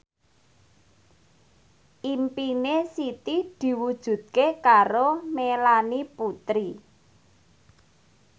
impine Siti diwujudke karo Melanie Putri